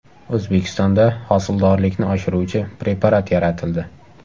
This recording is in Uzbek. O‘zbekistonda hosildorlikni oshiruvchi preparat yaratildi.